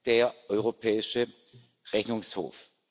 der Europäische Rechnungshof.